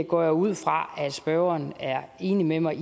går jeg ud fra spørgeren er enig med mig